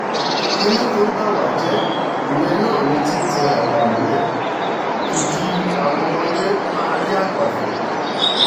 kínní kan bá wá jẹ́ ìyẹn náà ni títẹ aṣọ àgbà mọ́lẹ̀ kí kí àwọn ọmọdé máárì àgbà fín